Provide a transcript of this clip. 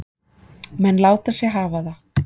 Menn láta sig hafa það.